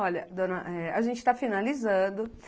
Olha, dona, a gente tá finalizando.